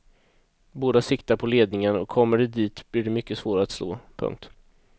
Båda siktar på ledningen och kommer de dit blir de mycket svåra att slå. punkt